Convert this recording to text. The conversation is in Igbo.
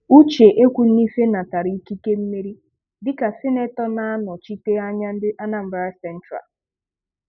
Uche Ekwuinife natara ikike mmeri dịka sinetọ na-anọchite anya ndị Anambara sentralụ.